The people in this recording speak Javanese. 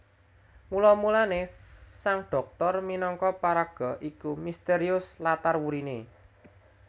Mula mulané Sang Dhoktor minangka paraga iku mistérius latar wuriné